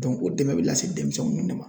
o dɛmɛ bɛ lase denmisɛnninw de ma.